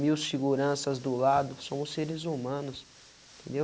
Mil seguranças do lado, somos seres humanos, entendeu?